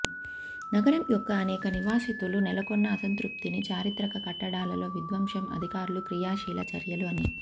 నగరం యొక్క అనేక నివాసితులు నెలకొన్న అసంతృప్తిని చారిత్రక కట్టడాలలో విధ్వంసం అధికారులు క్రియాశీల చర్యలు అని